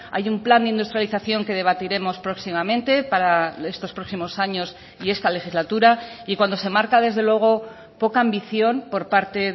hay un plan de industrialización que debatiremos próximamente para estos próximos años y esta legislatura y cuando se marca desde luego poca ambición por parte